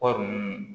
Kɔɔri nunnu